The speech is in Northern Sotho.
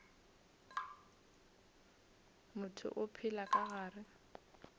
motho o phela ka gare